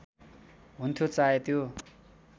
हुन्थ्यो चाहे त्यो